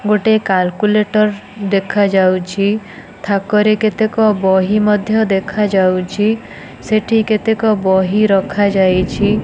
ଗୋଟେ କାଲକୁଲେଟର୍ ଦେଖା ଯାଉଛି ଥାକରେ କେତେକ ବହି ମଧ୍ୟ ଦେଖା ଯାଉଚି ସେଠି କେତକ ବହି ଯାଉଛି ।